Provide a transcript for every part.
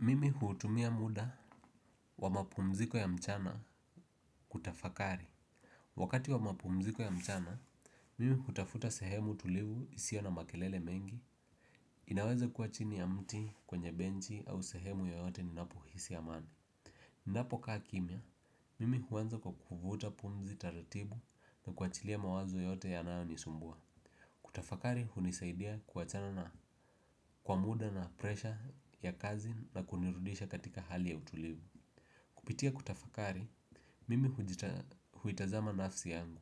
Mimi hutumia muda wa mapumziko ya mchana kutafakari. Wakati wa mapumziko ya mchana mimi hutafuta sehemu tulivu isiyo na makelele mengi. Inaweze kuwa chini ya mti kwenye benchi au sehemu yoyote ninapohisi amani. Ninapokaa kimya mimi huanza kwa kuvuta pumzi taratibu na kuachilia mawazo yote yanayonisumbua. Kutafakari hunisaidia kuachana na kwa muda na presha ya kazi na kunirudisha katika hali ya utulivu. Kupitia kutafakari, mimi huitazama nafsi yangu.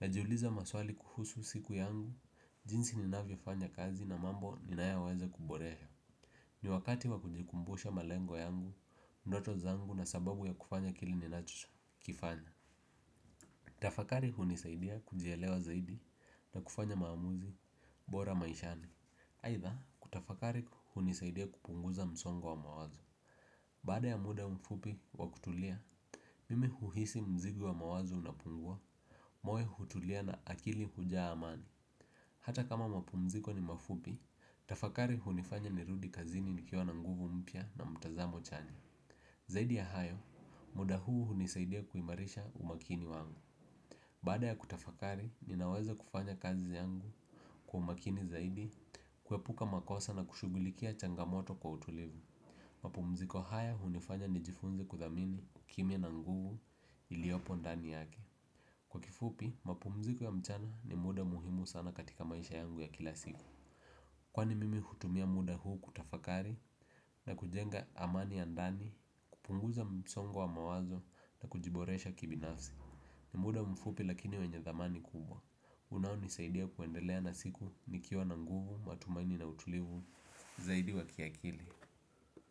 Najiuliza maswali kuhusu siku yangu, jinsi ninavyofanya kazi na mambo ninayoweza kuboresha. Ni wakati wa kujikumbusha malengo yangu, ndoto zangu na sababu ya kufanya kile ninachokifanya. Kutafakari hunisaidia kujielewa zaidi na kufanya maamuzi bora maishani. Aidha kutafakari hunisaidia kupunguza msongo wa mawazo. Baada ya muda mfupi wa kutulia mimi huhisi mzigo wa mawazo unapungua, moyo hutulia na akili hujaa amani. Hata kama mapumziko ni mafupi, tafakari hunifanya nirudi kazini nikiwa na nguvu mpya na mtazamo chanya. Zaidi ya hayo, muda huu hunisaidia kuimarisha umakini wangu. Baada ya kutafakari, ninaweza kufanya kazi yangu kwa umakini zaidi kuepuka makosa na kushughulikia changamoto kwa utulivu. Mapumziko haya hunifanya nijifunze kuthamini kimya na nguvu iliyopo ndani yake. Kwa kifupi, mapumziko ya mchana ni muda muhimu sana katika maisha yangu ya kila siku. Kwani mimi hutumia muda huu kutafakari na kujenga amani ya ndani, kupunguza msongo wa mawazo na kujiboresha kibinafsi. Ni muda mfupi lakini wenye thamani kubwa unaonisaidia kuendelea na siku nikiwa na nguvu, matumaini na utulivu, zaidi wa kiakili.